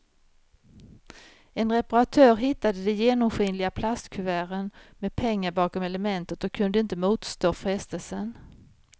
En reparatör hittade de genomskinliga plastkuverten med pengar bakom elementet och kunde inte motstå frestelsen.